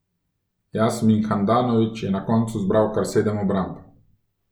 Jasmin Handanović je na koncu zbral kar sedem obramb.